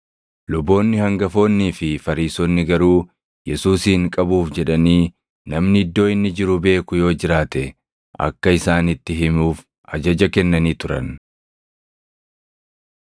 Luboonni hangafoonnii fi Fariisonni garuu Yesuusin qabuuf jedhanii namni iddoo inni jiru beeku yoo jiraate akka isaanitti himuuf ajaja kennanii turan.